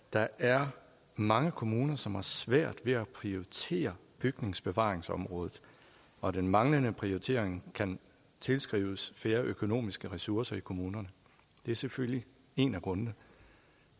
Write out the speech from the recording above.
der er mange kommuner som har svært ved at prioritere bygningsbevaringsområdet og den manglende prioritering kan tilskrives færre økonomiske ressourcer i kommunerne det er selvfølgelig en af grundene